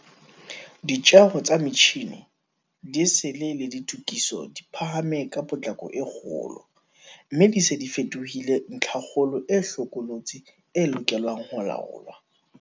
Ditjeo tsa metjhine, diesel le ditokiso di phahame ka potlako e kgolo, mme di se di fetohile ntlhakgolo e hlokolosi e lokelang ho laolwa.